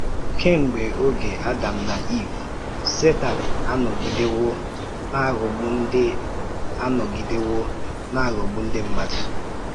Kemgbe oge Adam na Iv, Sétan anọgidewo na-aghọgbu ndị anọgidewo na-aghọgbu ndị mmadụ.